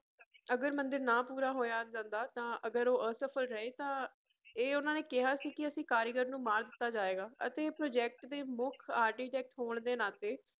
ਅਗਰ ਮੰਦਿਰ ਨਾ ਪੂਰਾ ਹੋਇਆ ਜਾਂਦਾ ਤਾਂ ਅਗਰ ਉਹ ਅਸਫਲ ਰਹੇ ਤਾਂ ਇਹ ਉਹਨਾਂ ਨੇ ਕਿਹਾ ਸੀ ਕਿ ਅਸੀਂ ਕਾਰੀਗਰ ਨੂੰ ਮਾਰ ਦਿੱਤਾ ਜਾਏਗਾ ਅਤੇ project ਦੇ ਮੁੱਖ architect ਹੋਣ ਦੇ ਨਾਤੇ